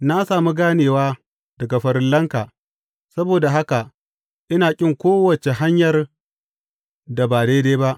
Na sami ganewa daga farillanka; saboda haka ina ƙin kowace hanyar da ba daidai ba.